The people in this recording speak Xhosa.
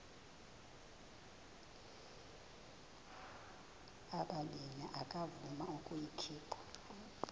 ubabini akavuma ukuyikhupha